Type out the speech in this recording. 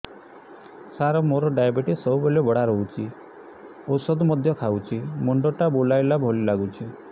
ସାର ମୋର ଡାଏବେଟିସ ସବୁବେଳ ବଢ଼ା ରହୁଛି ଔଷଧ ମଧ୍ୟ ଖାଉଛି ମୁଣ୍ଡ ଟା ବୁଲାଇବା ଭଳି ଲାଗୁଛି